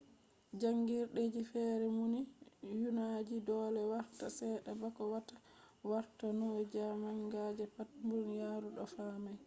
jangirdeji fere numi nyauji dole warta sedda bako wata warta nyauji manga je pat duniyaru o fami